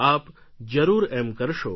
આપ જરૂર એમ કરશો